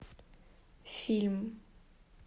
фильм